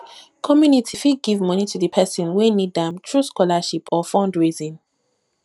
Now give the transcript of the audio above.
community fit give money to di person wey need am through scholarship or fundraising